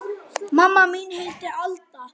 Mamma mín heitir Alda.